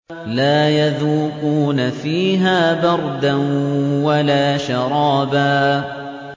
لَّا يَذُوقُونَ فِيهَا بَرْدًا وَلَا شَرَابًا